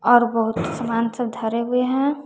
और बहुत सामान सब धरे हुए हैं।